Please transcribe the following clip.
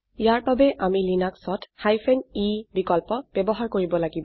ইয়াৰ বাবে আমি লিনাক্সত e অপশ্যন বিকল্প ব্যবহাৰ কৰিব লাগিব